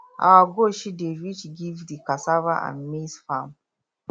our goat shit dey reach give the cassava and maize farm